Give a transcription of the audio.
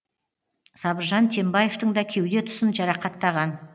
сабыржан тембаевтың да кеуде тұсын жарақаттаған